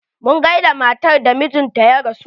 Mun gaida matar da mijinta ya rasu.